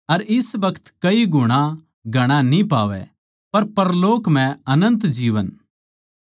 अर इस बखत कई गुणा घणा न्ही पावै अर परलोक म्ह अनन्त जीवन